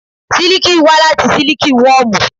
Siliki wá láti Siliki wọmu.